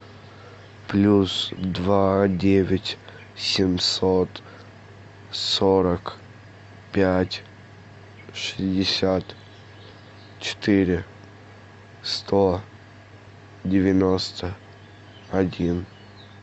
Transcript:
плюс два девять семьсот сорок пять шестьдесят четыре сто девяносто один